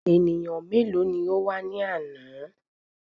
Ènìyàn mélòó ní o wá ní àná?